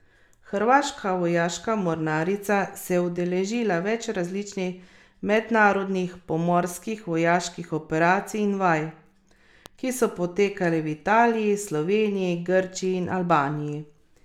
Hrvaška vojaška mornarica se je udeležila več različnih mednarodnih pomorskih vojaških operacij in vaj, ki so potekale v Italiji, Sloveniji, Grčiji in Albaniji.